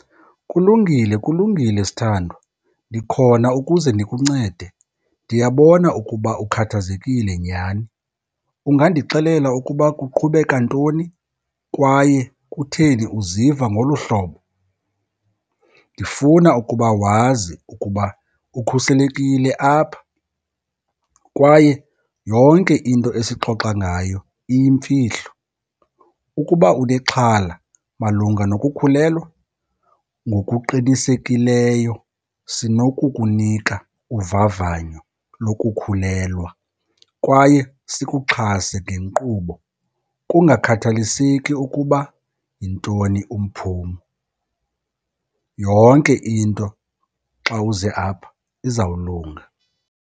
Kulungile, kulungile sithandwa, ndikhona ukuze ndikuncede. Ndiyabona ukuba ukhathazekile nyhani. Ungandixelela ukuba kuqhubeka ntoni kwaye kutheni uziva ngolu hlobo? Ndifuna ukuba wazi ukuba ukhuselekile apha kwaye yonke into esixoxa ngayo iyimfihlo. Ukuba unexhala malunga nokukhulelwa, ngokuqinisekileyo sinokukunika uvavanyo lokukhulelwa kwaye sikuxhase ngenkqubo kungakhathaliseki ukuba yintoni umphumo. Yonke into xa uze apha izawulunga.